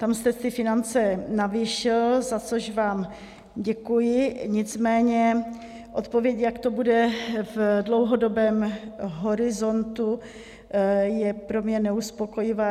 Tam jste ty finance navýšil, za což vám děkuji, nicméně odpověď, jak to bude v dlouhodobém horizontu, je pro mě neuspokojivá.